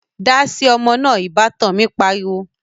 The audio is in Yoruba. Dáasi ọmọ náà' Ìbátan mi pariwo